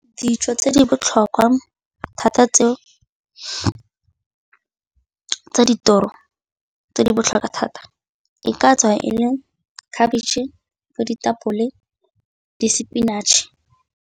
Dijo tse di botlhokwa thata tseo tsa tse di botlhokwa thata e ka tswa e le khabitšhe, bo ditapole, di-spinach.